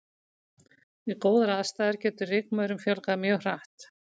Við góðar aðstæður getur rykmaurum fjölgað mjög hratt.